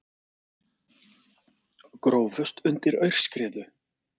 Grófust undir aurskriðu